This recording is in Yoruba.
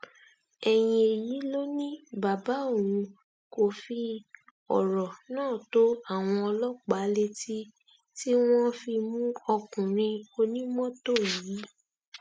ẹyìn èyí ló ní bàbá òun fi ọrọ náà tó àwọn ọlọpàá létí tí wọn fi mú ọkùnrin onímọtò yìí